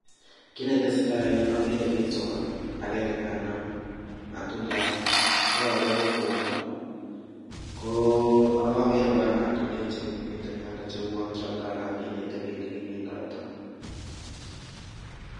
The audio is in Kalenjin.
Ki netesetai en yu akere bik somok, akenge nekanam matundiat, ko ake ko kwondo, ko akakere kora matundek che miten yono che uan kialda anan kinete bik ole kimindoita.